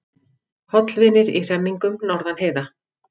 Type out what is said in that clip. Hollvinir í hremmingum norðan heiða